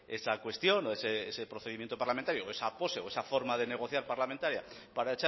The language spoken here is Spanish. esa cuestión o ese procedimiento parlamentario o esa pose o esa forma de negociar parlamentaria para